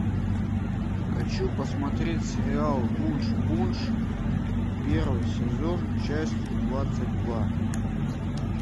хочу посмотреть сериал вуншпунш первый сезон часть двадцать два